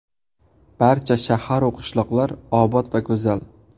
Barcha shaharu qishloqlar obod va go‘zal.